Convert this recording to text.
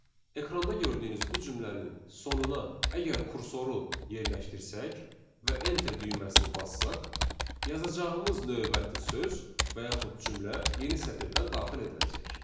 Ekranda gördüyünüz bu cümlənin sonuna əgər kursoru yerləşdirsək və enter düyməsini bassaq, yazacağımız növbəti söz və yaxud cümlə yeni sətirdən daxil ediləcək.